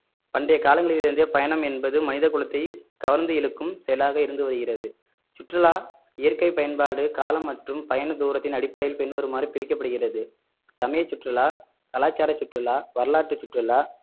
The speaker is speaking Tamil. பண்டைய காலங்களில் இருந்தே பயணம் என்பது மனித குலத்தை கவர்ந்து இழுக்கும் செயலாக இருந்து வருகிறது சுற்றுலா இயற்கை பயன்பாடு காலம் மற்றும் பயண தூரத்தின் அடிப்படையில் பின்வருமாறு பிரிக்கப்படுகிறது சமய சுற்றுலா கலாச்சார சுற்றுலா வரலாற்று சுற்றுலா